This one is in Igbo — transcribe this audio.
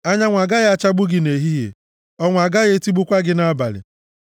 anyanwụ agaghị achagbu gị nʼehihie, ọnwa agaghị etigbukwa gị nʼabalị.